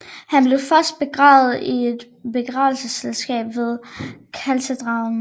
Han blev først begravet i et begravelseskapel ved katedralen